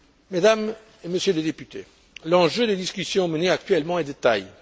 Mesdames et Messieurs les députés, l'enjeu des discussions menées actuellement est de taille.